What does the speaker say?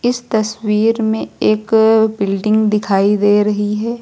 इस तस्वीर में एक अ बिल्डिंग दिखाई दे रही है।